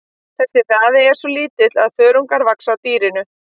Þessi hraði er svo lítill að þörungar vaxa á dýrinu.